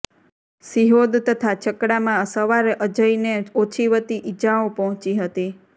સિહોદ તથા છકડામાં સવાર અજયને ઓછીવતી ઇજાઓ પહોંચી હતી